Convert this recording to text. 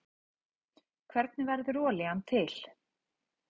hvernig verður olían til